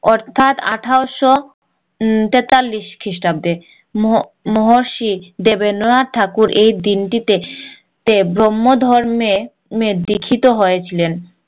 অর্থাৎ আঠাশশো তেতাল্লিশ খ্রিস্টাব্দে মহর্ষি দেবেন্দ্র নাথ ঠাকুর এই দিনটিতে ব্রহ্মহ ধর্মে দীক্ষিত হয়ে ছিলেন